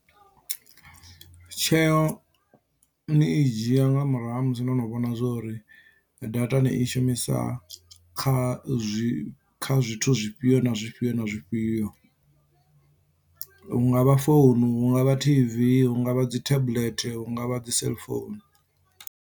Tsheo ni i dzhia nga murahu ha musi no no vhona zwori data ni i shumisa kha zwi kha zwithu zwifhio na zwifhio na zwifhio hungavha founu, hu ngavha tv, hu ngavha dzi tablet, hu ngavha dzi seḽifounu.